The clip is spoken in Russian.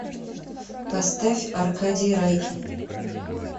поставь аркадий райкин